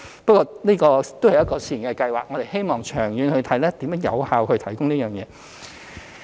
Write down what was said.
不過，這只是試驗計劃，我們希望長遠檢視如何有效提供這服務。